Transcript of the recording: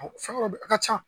Fɛn dɔ be yen a ka ca